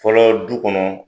Fɔlɔ du kɔnɔ,